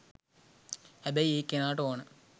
හැබැයි ඒ කෙනාට ඕන